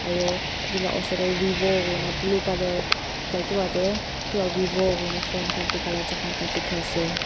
aro edu laka osor tae vivo kina blue colour ekta kipa tae vivo koina phone khan bikai la jaka ekta dikhiase.